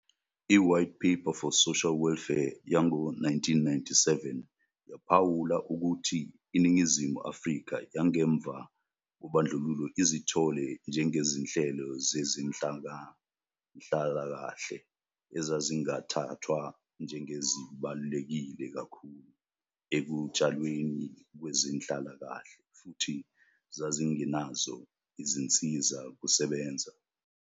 I-White Paper for Social Welfare yango-1997 yaphawula ukuthi iNingizimu Afrika yangemva kobandlululo izithole njengezinhlelo zezenhlalakahle "ezazingathathwa njengezibaluleke kakhulu ekutshalweni kwezenhlalakahle futhi zazingenazo izinsiza kusebenza".